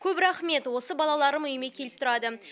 көп рахмет осы балаларым үйіме келіп тұрады